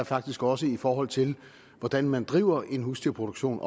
faktisk også i forhold til hvordan man driver husdyrproduktion